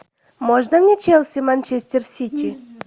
можно мне челси манчестер сити